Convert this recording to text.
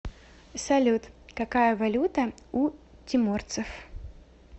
салют какая валюта у тиморцев